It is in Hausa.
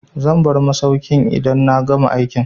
Zan bar masaukin idan na gama aikina.